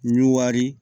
Ɲuwari